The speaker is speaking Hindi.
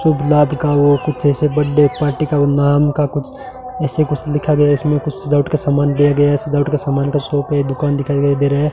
शुभ लाभ का वो कुछ ऐसे बड्डे पार्टी का ऊ नाम का कुछ ऐसे कुछ लिखा गया इसमें कुछ सजावट का सामान दिया गया है सजावट का सामान का शॉप है दुकान दिखाई दे रहे है।